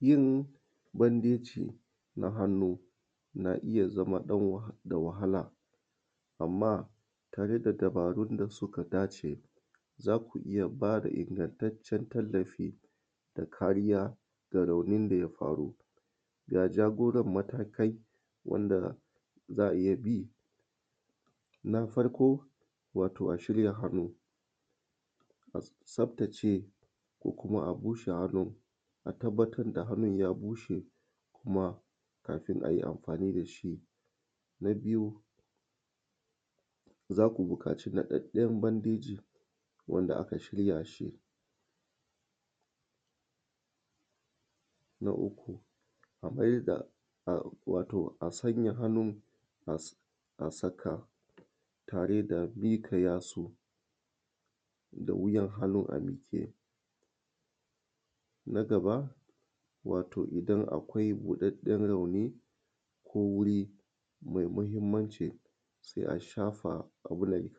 Yin bandeji na hannu na iya zama da wahala amma tare da dubarun da suka dace za ku iya b ada ingantaccen tallafi da kariya ga raunin da ya faru ga jagoran matakai wanda zaa iya bi. Na farko wato a shirya hannu a tsaftace ko kuma a bushe, hannun a tabbatar da hannun ya bushe kuma kamin a yi amfani da shi na biyu za ku buƙaci naɗaɗɗen bandeji wanda aka shirya shi, na uku a sanya hannu tare da miƙa yatsu da wuyan hannu a mike na gaba wato idan akwai buɗaɗɗen rauni ko wuri mai mahimmanci sai a shafa a wurin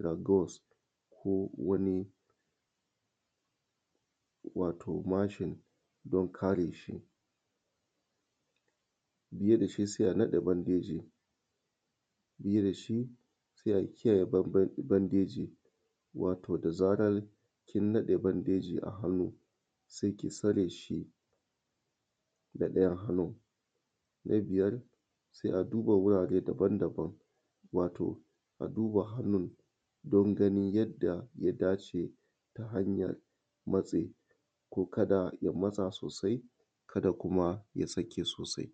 ko kuma wato mashin don kare shi, sai a naɗa bandejin a bi da shi sai a kiyaye bandeji wato da zarar kin naɗa bandeji a hannu sai kai tsare shi da ɗayan hannun, na biyar sai a duba wurare daban-daban wato a duba hannun don ganin yadda ya dace ka da ya matsa sosai ka da kuma ya sake sosai.